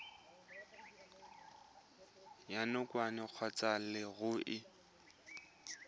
ya nakwana kgotsa ya leruri